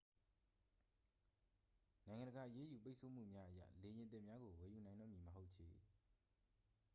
နိုင်ငံတကာ အရေးယူပိတ်ဆို့မှုများအရ လေယာဉ်သစ်များကို ဝယ်ယူနိုင်တော့မည်မဟုတ်ချေ